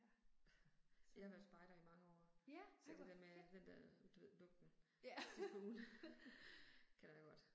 Jeg har været spejder i mange år. Så det der med at, den der, du ved, lugten sidst på ugen. Kender jeg godt